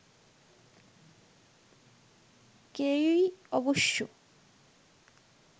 কেউই অবশ্য